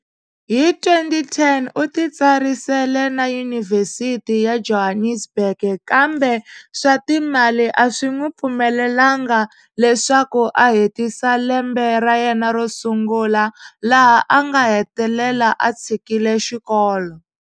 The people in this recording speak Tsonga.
Hi 2010, u ti tsarisele na Yunivhesiti ya Johannesburg kambe swa timali a swi n'wi pfumelelanga leswaku a hetisa lembe ra yena ro sungula laha a nga hetelela a tshikile xikolo.